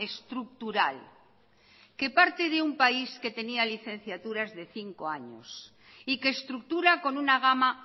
estructural que parte de un país que tenía licenciaturas de cinco años y que estructura con una gama